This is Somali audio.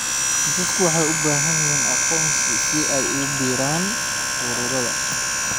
Dadku waxay u baahan yihiin aqoonsi si ay ugu biiraan ururada.